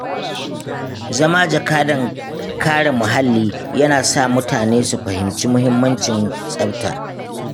Zama jakadan kare muhalli yana sa mutane su fahimci mahimmancin tsafta.